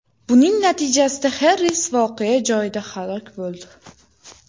Buning natijasida Xarris voqea joyida halok bo‘ldi.